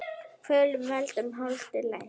Kvölum veldur holdið lest.